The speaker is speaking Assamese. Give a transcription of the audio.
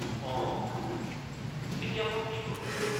অঁ! এতিয়া মই কি কৰোঁ?